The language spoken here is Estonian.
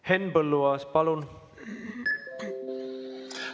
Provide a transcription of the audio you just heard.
Henn Põlluaas, palun!